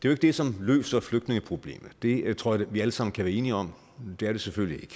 er det som løser flygtningeproblemet det tror jeg vi alle sammen kan være enige om det selvfølgelig